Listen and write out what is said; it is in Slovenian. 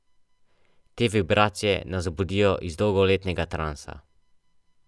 Te vibracije nas budijo iz dolgoletnega transa.